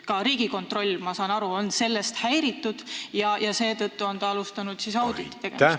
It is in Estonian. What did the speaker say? Ka Riigikontroll, ma saan aru, on sellest häiritud ja seetõttu alustanud auditi tegemist.